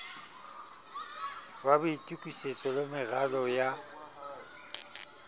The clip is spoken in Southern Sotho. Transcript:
wa boitokisetso le meralo ya